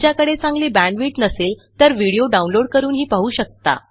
तुमच्याकडे चांगली बॅण्डविड्थ नसेल तर व्हिडीओ download160 करूनही पाहू शकता